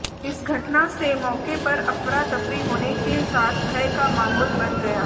इस घटना से मौके पर अफरातफरी होने के साथ भय का माहौल बन गया